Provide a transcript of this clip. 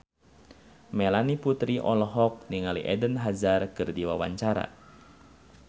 Melanie Putri olohok ningali Eden Hazard keur diwawancara